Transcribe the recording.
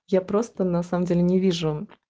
я просто на самом деле не вижу